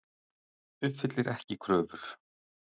Uppfyllir ekki kröfur